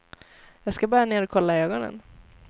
Jag ska bara ner och kolla ögonen.